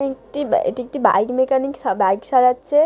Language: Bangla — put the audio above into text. একটি এটি একটি বাইক মেকানিক বাইক সারাচ্ছে।